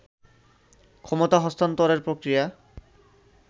ক্ষমতা হস্তান্তরের প্রক্রিয়া